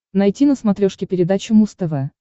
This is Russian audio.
найти на смотрешке передачу муз тв